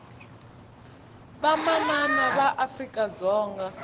vamanana va afrika dzonga